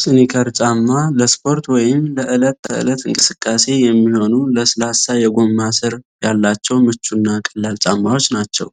ስኒከር ጫማ ለስፖርት ወይም ለዕለት ተዕለት እንቅስቃሴ የሚሆኑ፣ ለስላሳ የጎማ ስር ያላቸው ምቹ እና ቀላል ጫማዎች ናቸው።